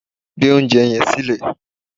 Gbé oúnjẹ yẹn silẹ́